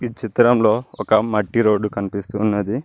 ఈ చిత్రంలో ఒక మట్టి రోడ్డు కనిపిస్తున్నది.